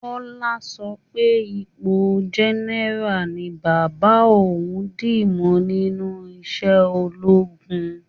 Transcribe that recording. Kọ́lá sọ pé ipo general ni bàbá òun dìmú nínú iṣẹ́ ológun